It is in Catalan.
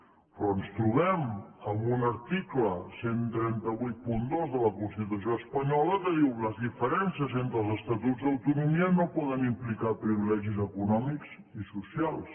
però ens trobem amb un article tretze vuitanta dos de la constitució espanyola que diu les diferències entre els estatuts d’autonomia no poden implicar privilegis econòmics ni socials